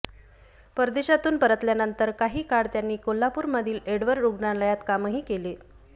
परदेशातून परतल्यानंतर काही काळ त्यांनी कोल्हापूरमधील एडवर्ड रुग्णालयात कामही केलं